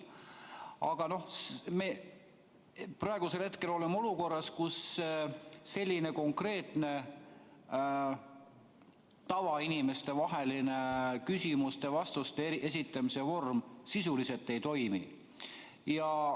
Aga praegu me oleme olukorras, kus selline konkreetne tavainimestevaheline küsimuste-vastuste esitamise vorm sisuliselt ei toimi.